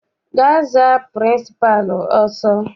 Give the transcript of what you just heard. Gaa za pịrịnsịpalụ ọsọ!